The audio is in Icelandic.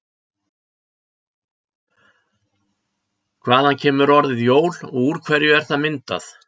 Hvaðan kemur orðið jól og úr hverju er það myndað?